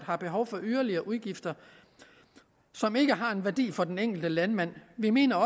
har behov for yderligere udgifter som ikke har en værdi for den enkelte landmand vi mener at